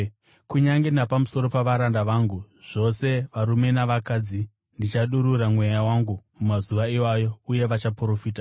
Kunyange napamusoro pavaranda vangu, zvose varume navakadzi, ndichadurura Mweya wangu mumazuva iwayo, uye vachaprofita.